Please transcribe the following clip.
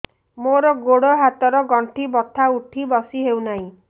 ମୋର ଗୋଡ଼ ହାତ ର ଗଣ୍ଠି ବଥା ଉଠି ବସି ହେଉନାହିଁ